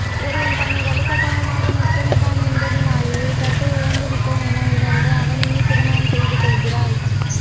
ஒருவன் தன்னை வலுக்கட்டாயமாக முத்தமிட்டான் என்பதனாலேயே கற்பை இழந்துவிட்டோம் என உணர்ந்து அவனையே திருமணம் செய்துகொள்கிறாள்